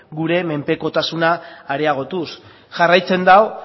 gure menpekotasuna areagotuz jarraitzen du